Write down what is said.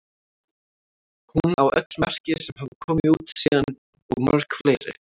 Hún á öll merki sem hafa komið út síðan og mörg fleiri.